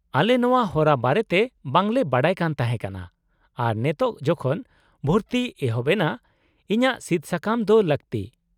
-ᱟᱞᱮ ᱱᱚᱶᱟ ᱦᱚᱨᱟ ᱵᱟᱨᱮᱛᱮ ᱵᱟᱝᱞᱮ ᱵᱟᱰᱟᱭ ᱠᱟᱱ ᱛᱟᱦᱮᱸ ᱠᱟᱱᱟ ᱟᱨ ᱱᱮᱛᱚᱜ ᱡᱚᱠᱷᱚᱱ ᱵᱷᱩᱨᱛᱤ ᱮᱦᱚᱵ ᱮᱱᱟ, ᱤᱧᱟᱹᱜ ᱥᱤᱫᱥᱟᱠᱟᱢ ᱫᱚ ᱞᱟᱹᱠᱛᱤ ᱾